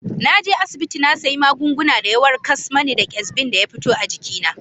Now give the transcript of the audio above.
Na je asibiti na sayi magungunan da ya warkas mani da kesbin da ya fito a jikina.